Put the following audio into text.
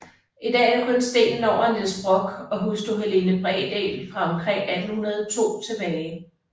I dag er der kun stenen over Niels Brock og hustru Helene Bredahl fra omkring 1802 tilbage